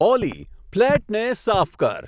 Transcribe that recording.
ઓલી, ફ્લેટને સાફ કર